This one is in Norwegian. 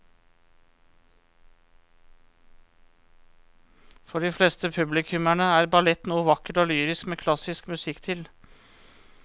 For de fleste publikummere er ballett noe vakkert og lyrisk med klassisk musikk til.